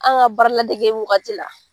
An ka baara ladege wagati la